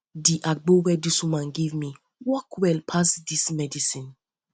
di agbo wey di woman give me um work well pass um dis medicine um